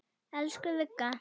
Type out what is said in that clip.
Elsku Vigga.